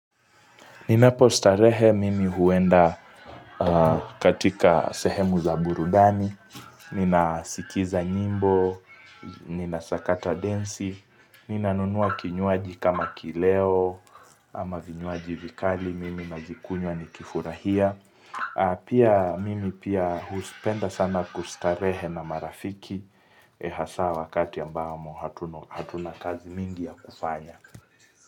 Ninapostarehe mimi huenda aaaaaa katika sehemu za burudani. Nina sikiza nyimbo, ninasakata densi. Ninanunuwa kinywaji kama kileo ama vinywaji vikali. Mimi nazikunywa nikifurahia. Aaaaa pia mimi pia huspenda sana kustarehe na marafiki. Eee hasaa wakati ambamo hatu hatuna kazi mingi ya kufanya.